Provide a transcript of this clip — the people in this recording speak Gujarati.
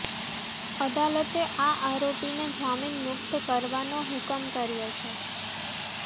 અદાલતે આ આરોપીને જામીન મુક્ત કરવાનો હુકમ કર્યો છે